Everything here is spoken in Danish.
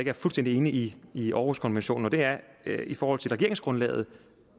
er fuldstændig inde i i århuskonventionen og det er i forhold til regeringsgrundlaget